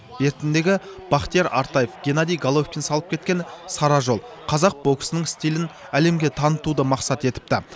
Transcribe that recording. бертіндегі бақтияр артаев геннадий головкин салып кеткен сара жол қазақ боксының стилін әлемге танытуды мақсат етіпті